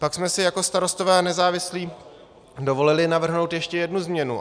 Pak jsme si jako Starostové a nezávislí dovolili navrhnout ještě jednu změnu.